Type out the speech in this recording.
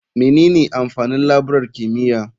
Menene amfanin laburar kimiyya?